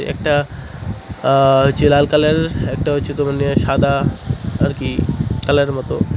একটা আ যে লাল কালার একটা হইচে তোমায় নিয়ে সাদা আর কী কালার -এর মতো।